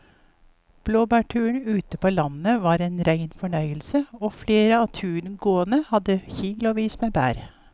Blåbærturen ute på landet var en rein fornøyelse og flere av turgåerene hadde kilosvis med bær.